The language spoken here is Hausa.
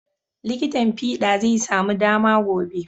Likitin fiɗa zai samu dama gobe.